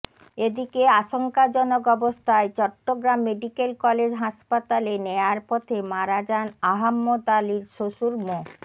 এদিকে আশঙ্কাজনক অবস্থায় চট্টগ্রাম মেডিকেল কলেজ হাসপাতালে নেয়ার পথে মারা যান আহাম্মদ আলীর শ্বশুর মো